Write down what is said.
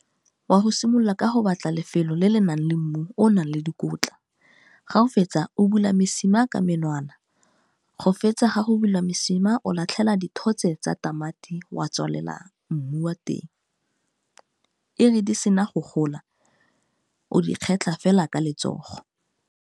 Wa go simolola ka go batla lefelo le le nang le mmu o o nang le dikotla, ga o fetsa o bula mesima ka menwana go fetsa ga go bula mosima o latlhela dithotse tsa tamati wa tswalela mmu wa teng, e re di sena go gola o di kgetlha fela ka letsogo.